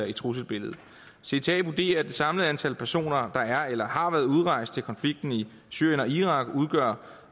i trusselsbilledet cta vurderer at det samlede antal personer der er eller har været udrejst til konflikten i syrien og irak udgør